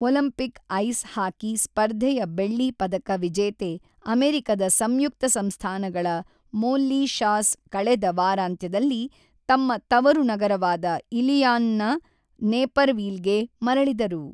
Olympic ice hockey ಸ್ಪರ್ಧೆಯ ಬೆಳ್ಳಿ ಪದಕ ವಿಜೇತೆ ಅಮೆರಿಕದ ಸಂಯುಕ್ತ ಸಂಸ್ಥಾನಗಳ ಮೋಲ್ಲಿ ಶಾಸ್ ಕಳೆದ ವಾರಾಂತ್ಯದಲ್ಲಿ ತಮ್ಮ ತವರು ನಗರವಾದ ಇಲಿನಾಯ್‌ನ ನೇಪರ್ವಿಲ್‌ಗೆ ಮರಳಿದರು.